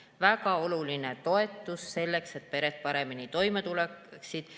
Väga oluline toetus selleks, et pered paremini toime tuleksid.